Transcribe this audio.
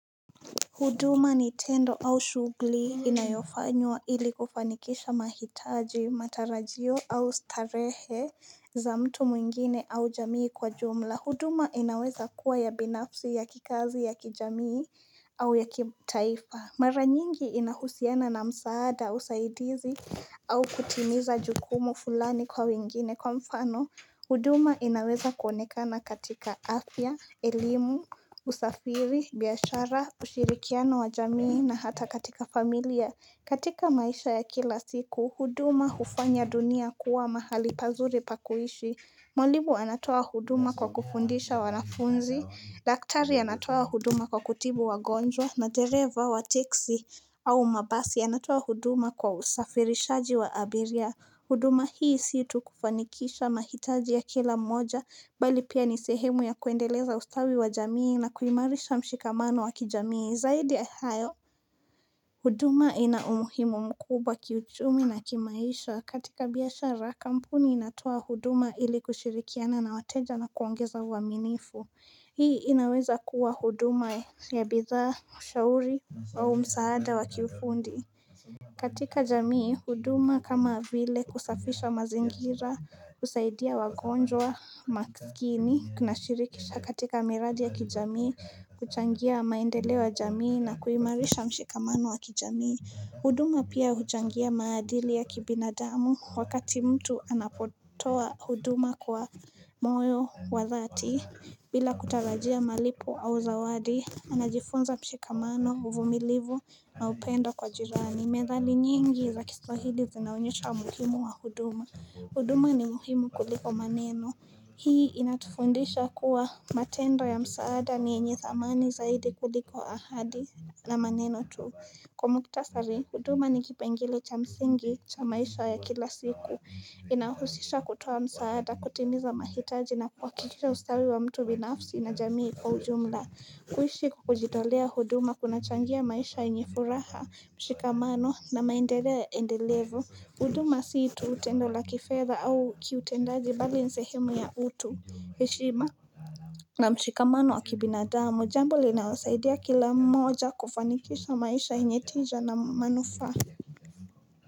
Huduma ni tendo au shughuli inayofanywa ili kufanikisha mahitaji, matarajio au starehe za mtu mwingine au jamii kwa jumla. Huduma inaweza kuwa ya binafsi ya kikazi ya kijamii au ya kitaifa. Mara nyingi inahusiana na msaada, usaidizi au kutimiza jukumu fulani kwa wengine. Kwa mfano, huduma inaweza kuonekana katika afya, elimu, usafiri, biashara, ushirikiano wa jamii na hata katika familia. Katika maisha ya kila siku, huduma hufanya dunia kuwa mahali pazuri pa kuishi Mwalimu anatoa huduma kwa kufundisha wanafunzi. Daktari anatoa huduma kwa kutibu wagonjwa na dereva wa teksi au mabasi yanatoa huduma kwa usafirishaji wa abiria huduma hii siitu kufanikisha mahitaji ya kila mmoja, bali pia ni sehemu ya kuendeleza ustawi wa jamii na kuimarisha mshikamano wa kijamii. Zaidi ya hayo, huduma ina umuhimu mkubwa kiuchumi na kimaisha. Katika biashara, kampuni inatoa huduma ili kushirikiana na wateja na kuongeza uaminifu. Hii inaweza kuwa huduma ya bidhaa, ushauri au msaada wa kiufundi. Katika jamii huduma kama vile kusafisha mazingira husaidia wagonjwa masikini, kunashirikisha katika miradi ya kijamii, kuchangia maendeleo ya jamii na kuimarisha mshikamano wa kijamii. Huduma pia huchangia maadili ya kibinadamu wakati mtu anapotoa huduma kwa moyo wa dhati bila kutarajia malipo au zawadi. Anajifunza mshikamano, uvumilivu na upendo kwa jirani. Methali nyingi za kiswahili zinaonyesha umuhimu wa huduma. Huduma ni muhimu kuliko maneno. Hii inatufundisha kuwa matendo ya msaada ni yenye thamani zaidi kuliko ahadi na maneno tu. Kwa muhtasari, huduma ni kipengele cha msingi cha maisha ya kila siku. Inahusisha kutoa msaada, kutimiza mahitaji na kuhakikisha ustawi wa mtu binafsi na jamii kwa ujumla. Kuishi kujitolea huduma kunachangia maisha yenye furaha mshikamano na maendeleo endelevu. Huduma si tu tendo la kifedha au kiutendaji bali ni sehemu ya utu, heshima na mshikamano wa kibinadamu jambo linawasaidia kila moja kufanikisha maisha yenye tija na manufaa.